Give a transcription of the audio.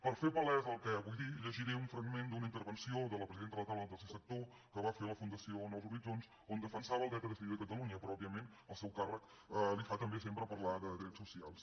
per fer palès el que vull dir llegiré un fragment d’una intervenció de la presidenta de la taula del tercer sector que va fer a la fundació nous horitzons on defensava el dret a decidir de catalunya pròpiament el seu càrrec li fa també sempre parlar de drets socials